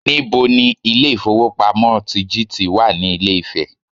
Níbo ni Ilé ìfowópamọ́ sí GTB wà ní Ilé Ifè